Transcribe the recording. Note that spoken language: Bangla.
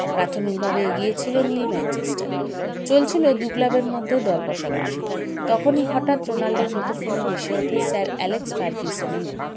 প্রাথমিক ভাবে এগিয়ে ছিল নীল ম্যানচেস্টার চলছিল দু club - এর মধ্যে দর কষাকষি তখনই হঠাৎ রোনাল্ডোর মুঠো phone -এ ভেসে ওঠে sir এলেক্স ফারগিসনের নাম